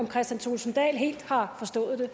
kristian thulesen dahl helt har forstået det